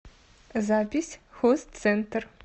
запись хозцентр